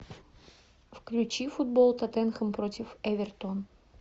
включи футбол тоттенхэм против эвертон